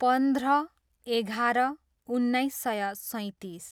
पन्ध्र, एघार, उन्नाइस सय सैँतिस